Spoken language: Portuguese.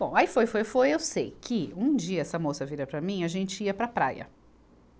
Bom, aí foi, foi, foi, eu sei que um dia essa moça vira para mim, a gente ia para a praia.